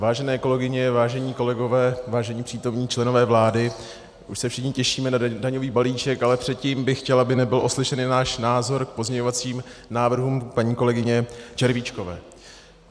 Vážené kolegyně, vážení kolegové, vážení přítomní členové vlády, už se všichni těšíme na daňový balíček, ale předtím bych chtěl, aby nebyl oslyšen náš názor k pozměňovacím návrhům paní kolegyně Červíčkové.